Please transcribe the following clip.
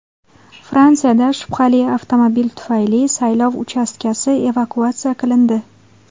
Fransiyada shubhali avtomobil tufayli saylov uchastkasi evakuatsiya qilindi.